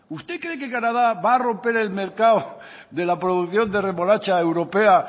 usted cree que canadá va a romper el mercado de la producción de remolacha europea